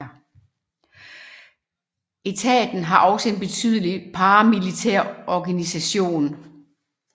Etaten har også en betydelig paramilitær organisation